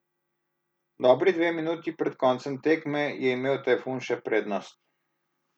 Dobri dve minuti pred koncem tekme je imel Tajfun še prednost.